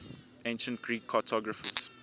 ancient greek cartographers